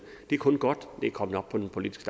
det er kun godt at det er kommet op på den politiske